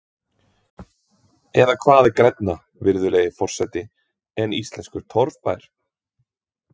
Eða hvað er grænna, virðulegur forseti, en íslenskur torfbær?